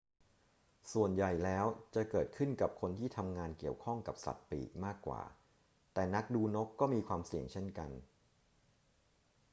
ส่วนใหญ่แล้วจะเกิดขึ้นกับคนที่ทำงานเกี่ยวข้องกับสัตว์ปีกมากกว่า แต่นักดูนกก็มีความเสี่ยงเช่นกัน